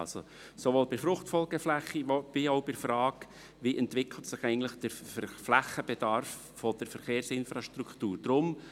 Dies sowohl hinsichtlich der Fruchtfolgeflächen als auch hinsichtlich der Frage, wie sich der Flächenbedarf der Verkehrsinfrastruktur entwickelt.